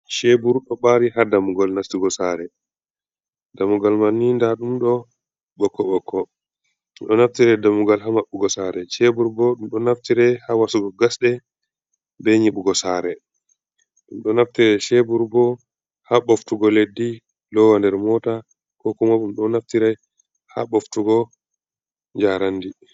Cheebur ɗo ɓaari haa dammugal nastugo saare, dammugal man ni ndaa ɗum ɗo ɓokko-ɓokko. Ɓe ɗo naftire dammugal haa maɓɓugo saare, cheebur bo ɗum ɗo naftire haa wasugo gasɗe, be nyiɓugo saare, ɗum ɗo naftire cheebur bo haa ɓoftugo leddi loowa nder moota, ko kuma ɗum ɗo naftire haa ɓoftugo njaarandi.